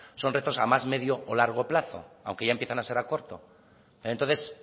son retos a más medio o largo plazo aunque ya empiezan a ser a corto entonces